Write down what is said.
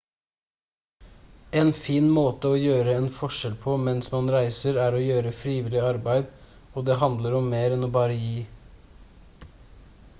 en fin måte å gjøre en forskjell på mens man reiser er å gjøre frivillig arbeid og det handler om mer enn å bare gi